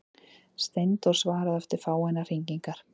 Steindór svaraði eftir fáeinar hringingar.